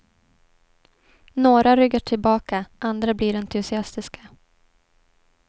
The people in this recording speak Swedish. Några ryggar tillbaka, andra blir entusiastiska.